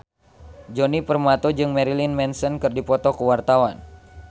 Djoni Permato jeung Marilyn Manson keur dipoto ku wartawan